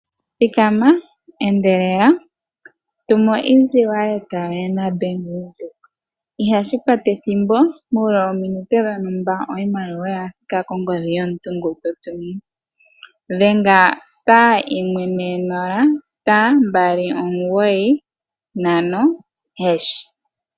Thikama endelela, tuma oshimaliwa kongodhi naBank Windhoek. Ihashi kwata ethimbo, muule wominute dhontumba oshimaliwa osha thika kongodhi yomuntu ngoka to tumine. Dhenga *140*295#.